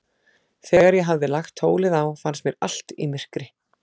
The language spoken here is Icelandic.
Þegar ég hafði lagt tólið á, fannst mér allt í myrkri.